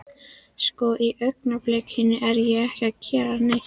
Sko. í augnablikinu er ég ekki að gera neitt.